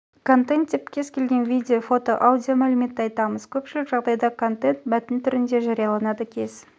контент деп кез келген видео фото аудио мәліметті айтамыз көпшілік жағдайда контент мәтін түрінде жарияланады кез